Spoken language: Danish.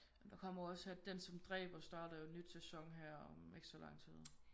Men der kommer jo også Den som dræber starter jo nyt sæson her om ikke så lang tid